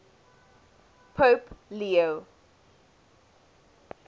pope leo